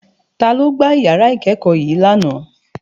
Ta ló gbá ìyàrá ìkẹ́kọ̀ọ́ yii lánàá.